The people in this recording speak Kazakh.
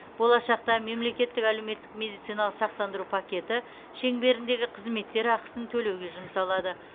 болашақта мемлекеттік әлеуметтік медициналық сақтандыру пакеті шеңберіндегі қызметтер ақысын төлеуге жұмсалады